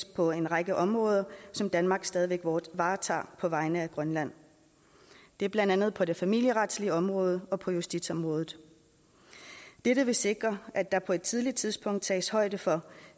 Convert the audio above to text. på en række områder som danmark stadig væk varetager på vegne af grønland det er blandt andet på det familieretlige område og på justitsområdet dette vil sikre at der på et tidligt tidspunkt tages højde for